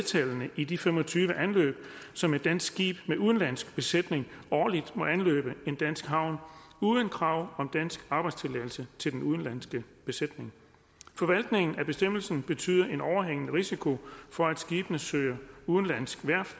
i de fem og tyve anløb som et dansk skib med udenlandsk besætning årligt må anløbe en dansk havn uden krav om dansk arbejdstilladelse til den udenlandske besætning forvaltningen af bestemmelsen betyder en overhængende risiko for at skibene søger udenlandsk værft